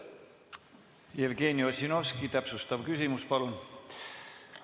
Jevgeni Ossinovski, täpsustav küsimus, palun!